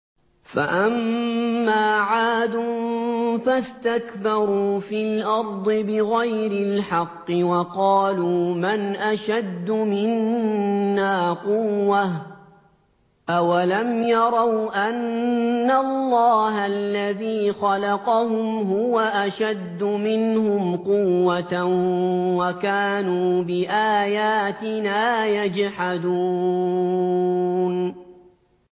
فَأَمَّا عَادٌ فَاسْتَكْبَرُوا فِي الْأَرْضِ بِغَيْرِ الْحَقِّ وَقَالُوا مَنْ أَشَدُّ مِنَّا قُوَّةً ۖ أَوَلَمْ يَرَوْا أَنَّ اللَّهَ الَّذِي خَلَقَهُمْ هُوَ أَشَدُّ مِنْهُمْ قُوَّةً ۖ وَكَانُوا بِآيَاتِنَا يَجْحَدُونَ